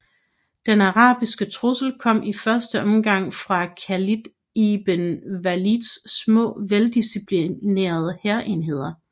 Den arabiske trussel kom i første omgang fra Khalid ibn Walids små veldisciplinerede hærenheder